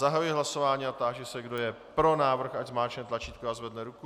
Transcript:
Zahajuji hlasování a táži se, kdo je pro návrh, ať zmáčkne tlačítko a zvedne ruku.